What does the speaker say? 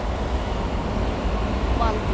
Þín Valdís.